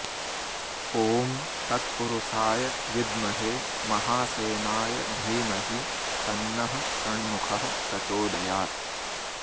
ॐ तत्पुरुषाय विद्महे महासेनाय धीमहि तन्नः षण्मुखः प्रचोदयात्